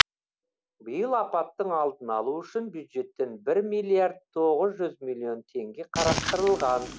биыл апаттың алдын алу үшін бюджеттен бір миллиард тоғыз жүз миллион теңге қарастырылған